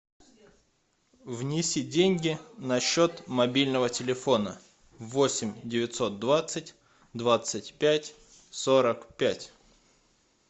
внеси деньги на счет мобильного телефона восемь девятьсот двадцать двадцать пять сорок пять